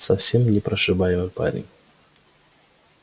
совсем непрошибаемый парень